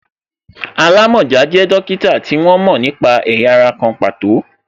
Alamọja jẹ dókítà tí wọ́n mo nípa ẹ̀yà ara kan pàtó